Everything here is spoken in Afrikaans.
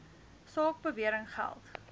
saak bewering geld